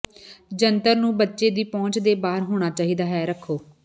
ਜੰਤਰ ਨੂੰ ਬੱਚੇ ਦੀ ਪਹੁੰਚ ਦੇ ਬਾਹਰ ਹੋਣਾ ਚਾਹੀਦਾ ਹੈ ਰੱਖੋ